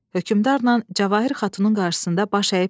Hökmdarla Cəvahir Xatunun qarşısında baş əyib dedi: